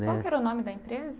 Né Qual que era o nome da empresa?